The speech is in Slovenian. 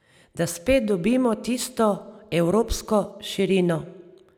Da spet dobimo tisto evropsko širino...